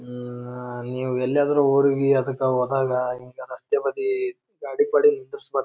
ಉಹ್ಹ್ ನೀವ್ ಎಲ್ಲಿ ಆದ್ರೂ ಊರಿಗೆ ಅದಕ್ಕ ಹೋದಾಗ ಹಿಂಗ ರಸ್ತೆ ಬದಿ ಗಾಡಿ ಪಾಡಿ ನಿಂದಿಸಬಾರ್ದು.